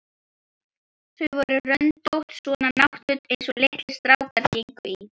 Þau voru röndótt, svona náttföt einsog litlir strákar gengu í.